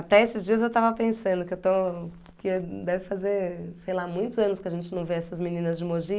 Até esses dias eu estava pensando que eu estou... que deve fazer, sei lá, muitos anos que a gente não vê essas meninas de Mogi.